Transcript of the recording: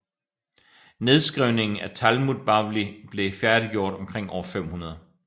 Nedskrivningen af Talmud Bavli blev færdiggjort omkring år 500